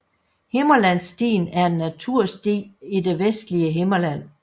Himmerlandsstien er en natursti i det vestlige Himmerland